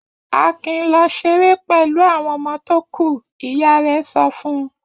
Akin lọ ṣeré pẹ̀lú àwọn ọmọ tó kù! Ìyá rẹ̀ sọ fún un.